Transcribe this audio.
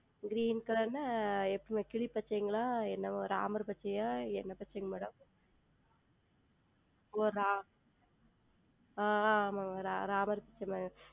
Green Color என்றால் எப்படி Madam கிளி பச்சையா Ramar பச்சையா என்ன பச்சை Madam ஓ Ramar ஆஹ் ஆமாம் Madam Ramar பச்சை மாதிரி